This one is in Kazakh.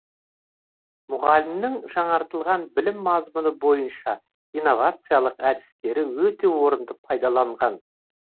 мұғалімнің жаңартылған білім мазмұны бойынша инновациялық әдістері өте орынды пайдаланған